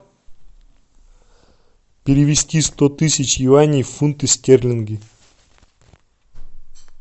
перевести сто тысяч юаней в фунты стерлинги